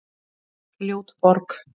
Ljót borg